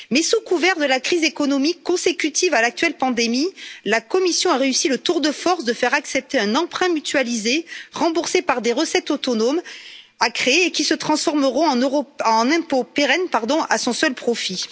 Mais sous couvert de la crise économique consécutive à l'actuelle pandémie, la Commission a réussi le tour de force de faire accepter un emprunt mutualisé remboursé par des recettes autonomes, à créer, et qui se transformeront en impôt pérenne à son seul profit.